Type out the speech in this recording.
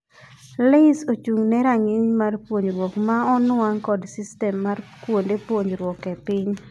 LAYS ochung'ne rang'iny mar puonjruok ma onwang' kod system mar kuonde puonjruok e piny.